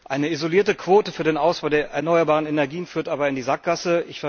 Eine isolierte Quote für den Ausbau der erneuerbaren Energien führt aber in die Sackgasse.